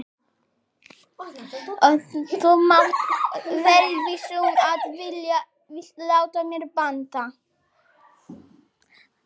Og þú mátt vera viss um að ég vil láta mér batna.